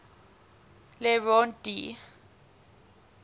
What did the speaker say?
le rond d